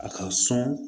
A ka sɔn